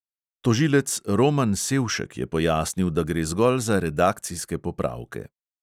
Tožilec roman sevšek je pojasnil, da gre zgolj za redakcijske popravke.